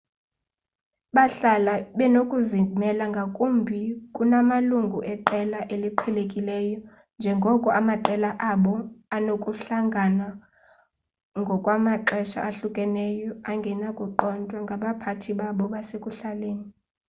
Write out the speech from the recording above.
bahlala benokuzimela ngakumbi kunamalungu eqela eliqhelekileyo njengoko amaqela abo anokuhlangana ngokwamaxesha ahlukeneyo angenakuqondwa ngabaphathi babo basekuhlaleni